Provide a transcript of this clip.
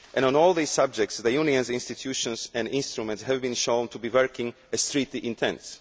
On all these subjects, the Union's institutions and instruments have been shown to be working as the treaty intends.